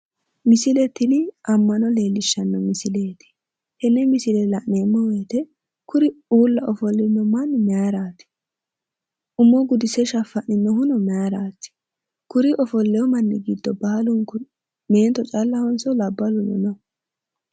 Misile tini ammano leellishshanno misileeti. tenne misile la'neemmo woyiite kuri uulla ofollino manni maayiiraati? umo gudise shaffa'ninohuno maayiraati? kuri ofollewo manni giddo baalunku meento callahonso labballuno no?